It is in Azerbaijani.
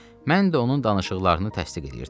Mən də onun danışıqlarını təsdiq eləyirdim.